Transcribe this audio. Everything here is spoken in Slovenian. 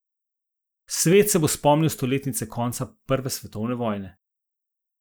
Svet se bo spomnil stoletnice konca prve svetovne vojne.